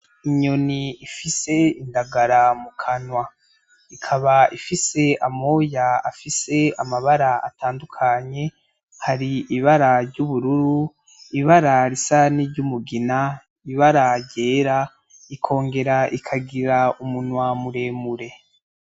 Inyoni ifise indagara mukanwa ,ikaba ifise amoya afis'amabara atandukanye :har'ibara ry'ubururu ,ibara risa niry'umugina ,ibara ryera, ikongera ikagira umunsi muremure.